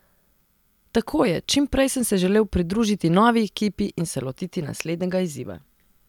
Tako je, čim prej sem se želel pridružiti novi ekipi in se lotiti naslednjega izziva.